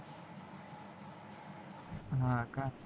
ह का